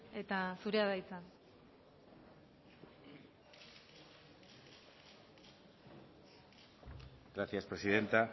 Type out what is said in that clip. eta zurea da hitza gracias presidenta